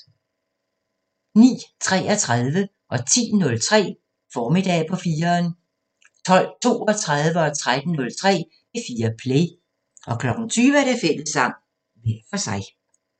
09:33: Formiddag på 4'eren 10:03: Formiddag på 4'eren 12:32: P4 Play 13:03: P4 Play 20:00: Fællessang – hver for sig